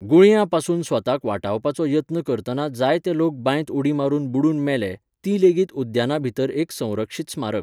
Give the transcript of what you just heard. गुळयां पासून स्वताक वाटावपाचो यत्न करतना जायते लोक बांयत उडी मारून बुडून मेले, ती लेगीत उद्याना भितर एक संरक्षीत स्मारक.